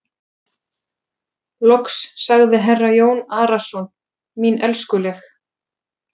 Loks sagði herra Jón Arason:-Mín elskuleg.